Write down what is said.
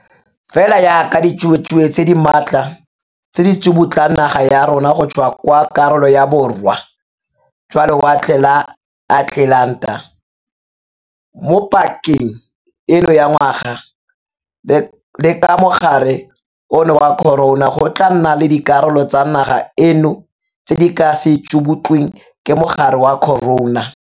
Fela jaaka ditsuatsue tse di maatla tse di tsubutlang naga ya rona go tswa kwa karolong ya Borwa jwa Lewatle la Atlelanta mo pakeng eno ya ngwaga, le ka mogare ono wa corona go tla nna le dikarolo tsa naga eno tse di ka se tsubutlweng ke mogare wa corona.